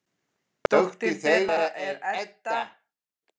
Dóttir þeirra er Edda.